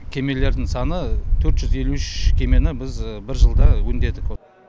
кемелердің саны төрт жүз елу үш кемені біз бір жылда өңдедік